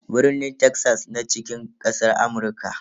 Birni Texas na cikin kasar Amurka.